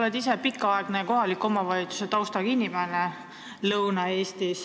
Sul on endal pikaaegne Lõuna-Eesti kohaliku omavalitsuse taust.